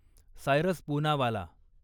Cyrus Poonawalla